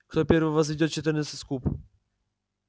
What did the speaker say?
кто первый возведёт четырнадцать в куб